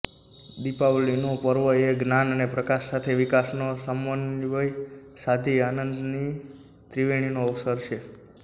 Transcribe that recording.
દિપાવલીનો પર્વ એ જ્ઞાન અને પ્રકાશ સાથે વિકાસનો સમન્વય સાધી આનંદની ત્રિવેણીનો અવસર છે